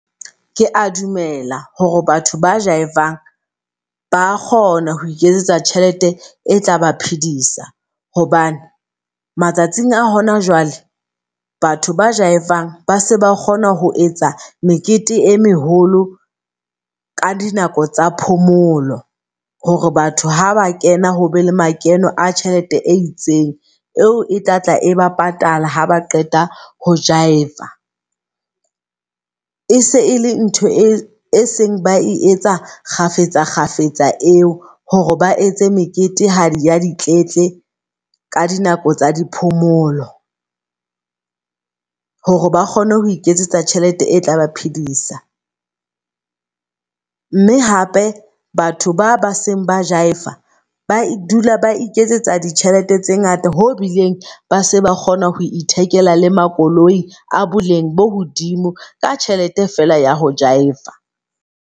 Ke a dumela hore batho ba jaiva-ang ba kgona ho iketsetsa tjhelete e tlaba phedisa. Hobane matsatsing a hona jwale, batho ba jaive-ang ba se ba kgona ho etsa mekete e meholo ka di nako tsa phomolo. Hore batho haba kena hobe le makeno a tjhelete e itseng, eo e tlatla e ba patala haba qeta ho jaive-a. E se e le ntho e seng ba e etsa kgafetsa kgafetsa eo hore ba etse mekete ha di ya di tletle ka di nako tsa di phomolo. Hore ba kgone ho iketsetsa tjhelete e tla ba phedisa. Mme hape batho ba baseng ba jaiva-a ba dula ba iketsetsa ditjhelete tse ngata ho bileng ba se ba kgona ho ithekela le makoloi a boleng bo hodimo ka tjhelete fela ya ho jaive-a.